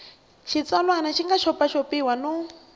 xitsalwana xi nga xopaxopiwa no